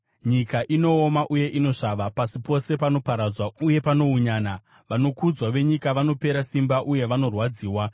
Nyika inooma uye inosvava, pasi pose panorwadziwa uye panounyana, vanokudzwa venyika vanopera simba uye vanorwadziwa.